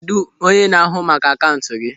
Kedụ onye na-ahụ maka akaụntụ gị?